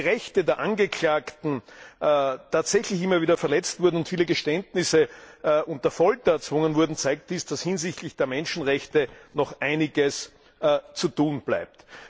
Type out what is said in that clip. Wenn die Rechte der Angeklagten tatsächlich immer wieder verletzt und viele Geständnisse unter Folter erzwungen wurden, zeigt dies, dass hinsichtlich der Menschenrechte noch einiges zu tun bleibt.